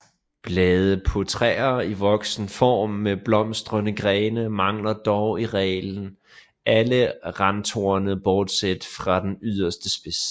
Blade på træer i voksen form med blomstrende grene mangler dog i reglen alle randtorne bortset fra den yderste spids